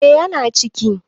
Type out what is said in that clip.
eh yana ciki